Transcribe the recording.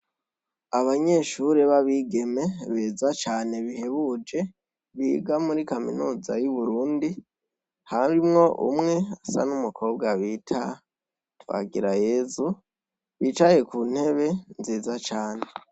Banyeshure b'abigeme beza cane bihebuje ,biga muri kaminuza y'uburundi ,harimwo umwe asa n'umukobwa bita Twagirayezu bicaye ku ntebe nziza cane.